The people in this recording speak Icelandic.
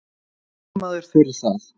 Fagmaður fyrir það.